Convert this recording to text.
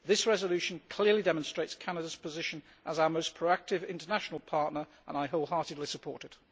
This resolution clearly demonstrates Canada's position as our most proactive international partner, and I wholeheartedly support it.